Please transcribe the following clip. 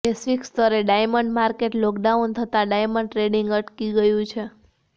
વૈશ્વિકસ્તરે diamond market lockdown થતા diamond trading અટકી ગયું છે